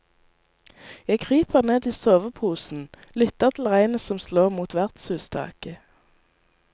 Jeg kryper ned i soveposen lytter til regnet som slår mot vertshustaket.